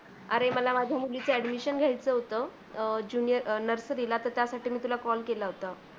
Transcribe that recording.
अरे मला माझ्या मुलीची admission घ्यायचं होतं अह junior nursary ला तर त्यासाठी मी तुला call केला होता.